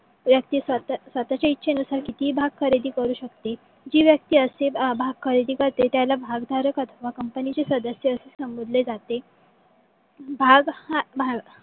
व्यक्ति स्वतच्या इछे नुसार कितीही भाग खरेदी करू शकतील जी व्यक्ति आशे भाग खरेदी करते त्याला असे भागधारक अथवा कंपनीचे सदस्य संबोधले जाते . भाग हा भाग